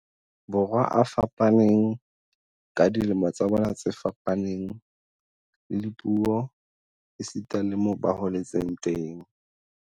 Borwa a fapaneng, ka dilemo tsa bona tse fapaneng, le dipuo esita le moo ba holetseng teng.